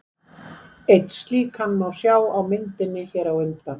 Einn slíkan má sjá á myndinni hér á undan.